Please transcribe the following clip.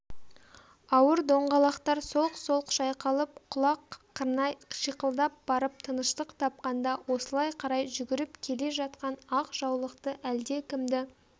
ауыр доңғалақтар солқ-солқ шайқалып құлақ қырнай шиқылдап барып тыныштық тапқанда осылай қарай жүгіріп келе жатқан ақ жаулықты әлдекімді